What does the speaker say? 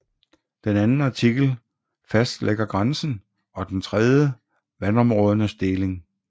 Den anden artikel fastlægger grænsen og den tredje vandområdernes deling